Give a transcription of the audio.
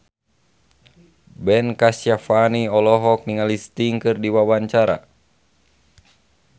Ben Kasyafani olohok ningali Sting keur diwawancara